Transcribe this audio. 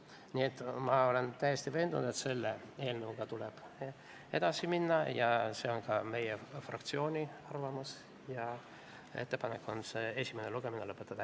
Nii et ma olen täiesti veendunud, et selle eelnõuga tuleb edasi minna ja ka meie fraktsiooni arvamus ja ettepanek on esimene lugemine lõpetada.